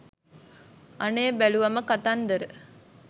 අනේ බැලුවම කතන්දර